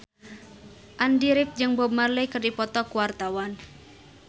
Andy rif jeung Bob Marley keur dipoto ku wartawan